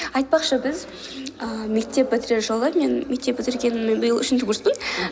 айтпақшы біз ааа мектеп бітірер жылы мен мектеп бітіргеніме биыл үшінші курспын